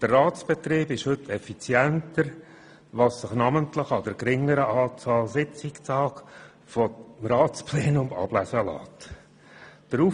Der Ratsbetrieb ist heute effizienter, was sich namentlich an der geringeren Anzahl Sitzungstage des Ratsplenums ablesen lässt.